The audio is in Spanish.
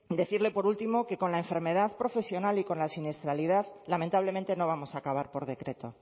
decirle por último que con la enfermedad profesional y con la siniestralidad lamentablemente no vamos a acabar por decreto